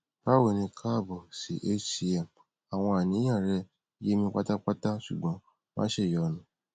báwo ni káàbọ sí hcm àwọn àníyàn rẹ yé mi pátápátá ṣùgbọn má ṣèyọnu